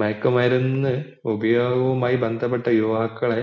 മയക്കു മരുന്ന് ഉപയോഗവുമായി ബന്ധപ്പെട്ട യുവാക്കളെ